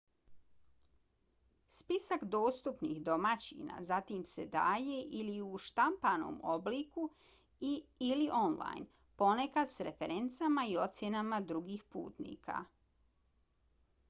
spisak dostupnih domaćina zatim se daje ili u štampanom obliku i/ili online ponekad s referencama i ocjenama drugih putnika